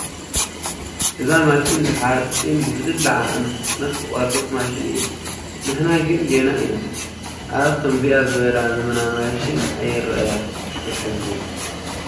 እዛ ማሽን ንሓፂን ብዝድለ ዓቐን ብፍጥነት ትቖርፅ ማሽን እያ፡፡ ንሕና ግን ገና ኢና፡፡ ኣብ ከምዚኣ ዝበላ ዘመናዊ ማሽን ኣይርአያን፡፡ የሕዝን፡፡